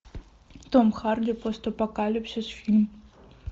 том харди постапокалипсис фильм